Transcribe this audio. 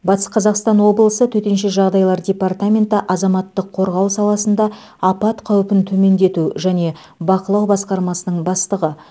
батыс қазақстан облысы төтенше жағдайлар департаменті азаматтық қорғау саласында апат қаупін төмендету және бақылау басқармасының бастығы